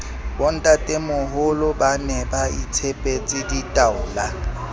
bontatemoholo ba ne baitshepetse ditaola